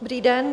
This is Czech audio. Dobrý den.